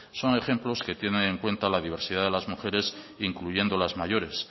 son ejemplos que tienen en cuenta la diversidad de las mujeres incluyendo las mayores